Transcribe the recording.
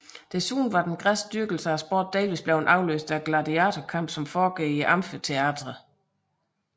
Desuden var den græske dyrkelse af sport delvis blevet afløst af gladiatorkampe som foregik i amfiteatre